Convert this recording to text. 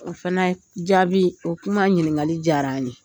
O fɛnɛ jaabi, o kuma ɲiningali diyara an ye.